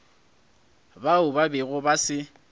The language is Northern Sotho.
bao ba bego ba se